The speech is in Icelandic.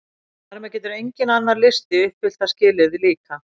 Þar með getur enginn annar listi uppfyllt það skilyrði líka!